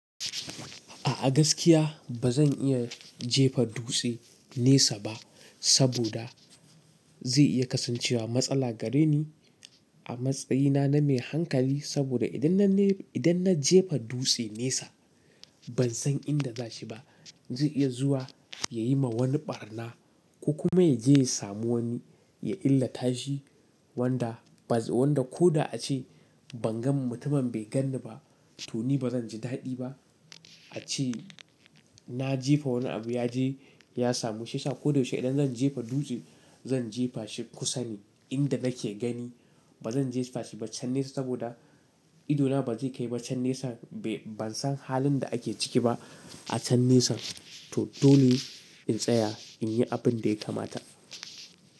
A gaskiya ba zan iya jefa dutse nesa ba saboda ze iya kasancewa matsala gare ni a matsayina na mai hankali saboda idan na, idan na jefa dutse nesa ban san inda za shi ba. Ze iya zuwa ya yi ma wani barna ko kuma ya je ya samu wani ya illata shi wanda baz. Wanda ko da a ce ban gan mutumin bai gan ni ba to ni ba zan ji daɗi ba. A ce na jefa wani abu ya je ya samu shi sa ko da yaushe idan zan jefa dutse zan jefa shi kusane inda nake gani. Ba zan jefa shi ba can nesa saboda idona ba zai kai ba can nesa. Be, ban san halin da ake ciki ba a can nesa. To dole in tsaya in yi abin da ya kamata.